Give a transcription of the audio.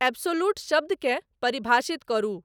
absolute शब्दकेँ परिभाषित करू